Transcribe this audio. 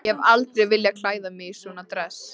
Ég hef aldrei viljað klæða mig í svona dress.